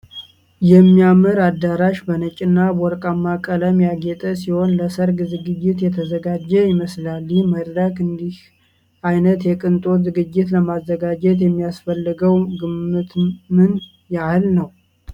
የሚያምር አዳራሽ በነጭና በወርቃማ ቀለም ያጌጠ ሲሆን ለሠርግ ዝግጅት የተዘጋጀ ይመስላል። ይህ መድረክ እንዲህ ዓይነት የቅንጦት ዝግጅት ለማዘጋጀት የሚያስፈልገው ግምት ምን ያህል ነው?